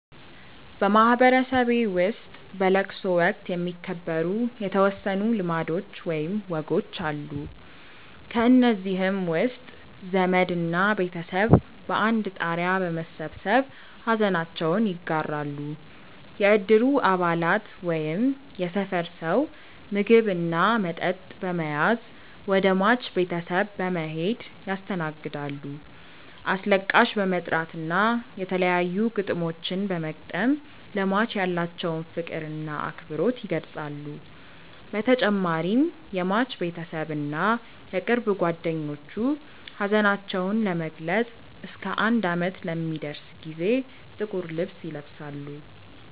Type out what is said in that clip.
በማህበረሰቤ ውስጥ በለቅሶ ወቅት የሚከበሩ የተወሰኑ ልማዶች ወይም ወጎች አሉ። ከእነዚህም ውስጥ ዘመድ እና ቤተሰብ በአንድ ጣሪያ በመሰብሰብ ሐዘናቸውን ይጋራሉ፣ የእድሩ አባላት ወይም የሰፈር ሰው ምግብ እና መጠጥ በመያዝ ወደ ሟች ቤተሰብ በመሔድ ያስተናግዳሉ፣ አስለቃሽ በመጥራት እና የተለያዩ ግጥሞችን በመግጠም ለሟች ያላቸውን ፍቅር እና አክብሮት ይገልፃሉ በተጨማሪም የሟች ቤተሰብ እና የቅርብ ጓደኞቹ ሀዘናቸውን ለመግለፅ እስከ አንድ አመት ለሚደርስ ጊዜ ጥቁር ልብስ ይለብሳሉ።